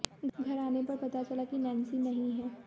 घर आने पर पता चला की नैंसी नहीं है